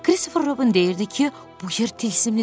Kristofer Robin deyirdi ki, bu yer tilsimlidir,